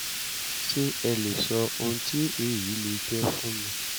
ṣé ẹ lè sọ ohun tí èyí lè jẹ́ fún mi?